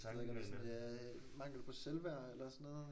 Det ved jeg ikke om det er sådan mangel på selvværd eller sådan noget?